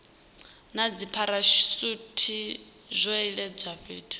na dzipharashuthi zwo iledzwa fhethu